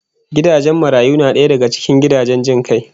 Gidan marayu na daya daga gidajen jin kai